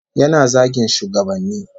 Yana zagin shugabanni